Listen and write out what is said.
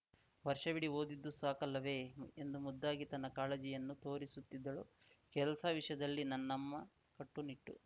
ವರ್ಷವಿಡೀ ಓದಿದ್ದು ಸಾಕಲ್ಲವೇ ಎಂದು ಮುದ್ದಾಗಿ ತನ್ನ ಕಾಳಜಿಯನ್ನು ತೋರಿಸುತ್ತಿದ್ದಳು ಕೆಲಸ ವಿಷಯದಲ್ಲಿ ನನ್ನಮ್ಮ ಕಟ್ಟುನಿಟ್ಟು